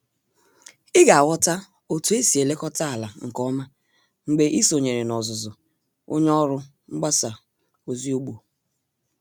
Ị ga-aghota otu esi elekọta ala nke ọma mgbe ị sonyere n'ọzụzụ onye ọrụ mgbasa ozi ugbo